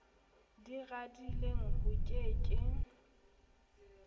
di radileng ho ke ke